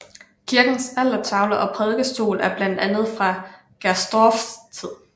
Kirkens altertavle og prædikestol er blandt andet fra Gersdorffs tid